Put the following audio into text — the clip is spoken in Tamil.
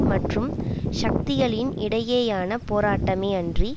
மற்றும் சக்திகளின் இடையேயான போராட்டமே அன்றி